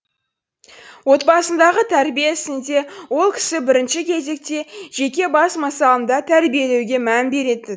отбасындағы тәрбие ісінде ол кісі бірінші кезекте жеке бас мысалында тәрбиелеуге мән беретін